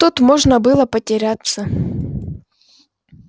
тут можно было потеряться